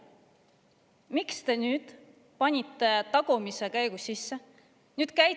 Miks te panite nüüd tagumise käigu sisse?